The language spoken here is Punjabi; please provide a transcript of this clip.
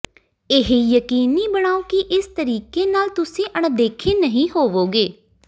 ਇਹ ਯਕੀਨੀ ਬਣਾਓ ਕਿ ਇਸ ਤਰੀਕੇ ਨਾਲ ਤੁਸੀਂ ਅਣਦੇਖੇ ਨਹੀਂ ਹੋਵੋਗੇ